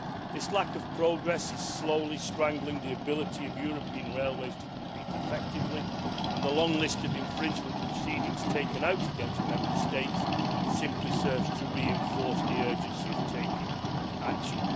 This lack of progress is slowly strangling the ability of European railways to compete effectively and the long list of infringement proceedings taken out against Member States simply serves to reinforce the urgency of taking action.